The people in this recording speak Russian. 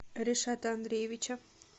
ришата андреевича